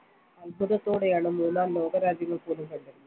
അത്ഭുതത്തോടെയാണ് മൂന്നാം ലോകരാജ്യങ്ങൾ പോലും കണ്ടത്.